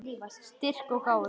Styrk og gáfur.